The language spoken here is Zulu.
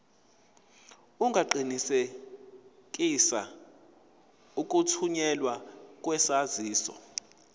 ungaqinisekisa ukuthunyelwa kwesaziso